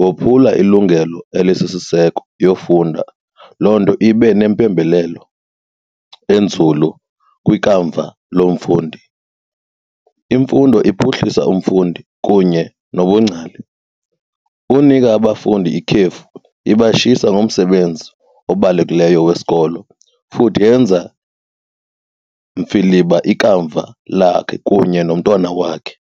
wophula ilungelo elisisiseko yofunda, loo nto ibe nempembelelo enzulu kwikamva lomfundi. Imfundo iphuhlisa umfundi kunye nobungcali. Unika abafundi ikhefu ibashiyisa ngomsebenzi obalulekileyo wesikolo futhi yenza mfiliba ikamva lakhe kunye nomntwana wakhe.